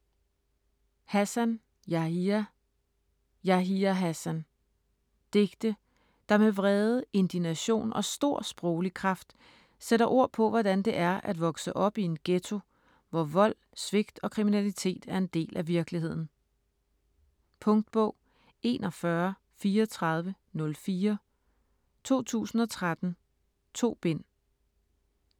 Hassan, Yahya: Yahya Hassan Digte der med vrede, indignation og stor sproglig kraft sætter ord på hvordan det er at vokse op i en ghetto, hvor vold, svigt og kriminalitet er en del af virkeligheden. Punktbog 413404 2013. 2 bind.